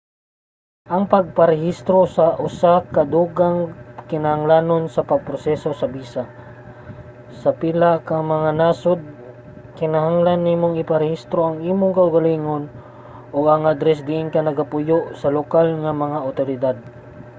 ang pagparehistro usa ka dugang kinahanglanon sa pagproseso sa bisa. sa pila ka mga nasod kinahanglan nimong iparehistro ang imong kaugalingon ug ang adres diin ka nagapuyo sa lokal nga mga awtoridad